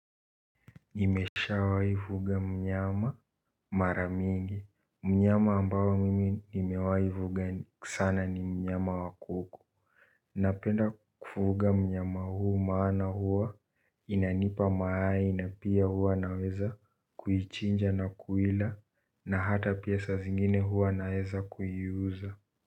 Nimeshawai fuga mnyama mara mingi. Mnyama ambayo mimi nimewai fuga sana ni mnyama wakuku. Napenda kufuga mnyama huu maana hua inanipa mayai na pia hua naweza kuichinja na kuiila na hata pia saa zingine hua naweza kuiuza.